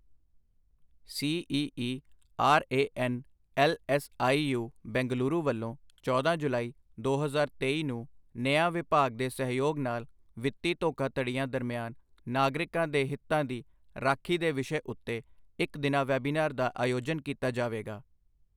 C E E R A N L S I U, Bengaluru ਵੱਲੋਂ ਚੌਦਾ ਜੁਲਾਈ, ਦੋ ਹਜ਼ਾਰ ਤੇਈ ਨੂੰ ਨਿਆਂ ਵਿਭਾਗ ਦੇ ਸਹਿਯੋਗ ਨਾਲ ਵਿੱਤੀ ਧੋਖਾਧੜੀਆਂ ਦਰਮਿਆਨ ਨਾਗਰਿਕਾਂ ਦੇ ਹਿੱਤਾਂ ਦੀ ਰਾਖੀ ਦੇ ਵਿਸ਼ੇ ਉੱਤੇ ਇੱਕ ਦਿਨਾ ਵੈਬੀਨਾਰ ਦਾ ਆਯੋਜਨ ਕੀਤਾ ਜਾਵੇਗਾ।